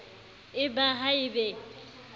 e ba ha e be